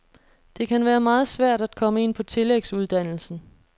Det kan være meget svært at komme ind på tillægsuddannelsen.